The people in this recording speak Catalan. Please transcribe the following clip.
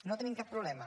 no hi tenim cap problema